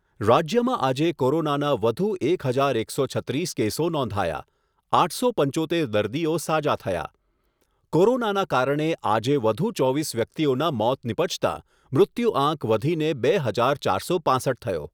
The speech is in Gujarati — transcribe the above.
રાજ્યમાં આજે કોરોનાના વધુ એક હજાર એકસો છત્રીસ કેસો નોંધાયા, આઠસો પંચોતેર દર્દીઓ સાજા થયા. કોરોનાના કારણે આજે વધુ ચોવીસ વ્યક્તિઓના મોત નિપજતાં મૃત્યુઆંક વધીને બે હજાર ચારસો પાંસઠ થયો.